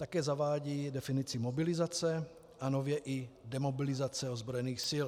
Také zavádí definici mobilizace a nově i demobilizace ozbrojených sil.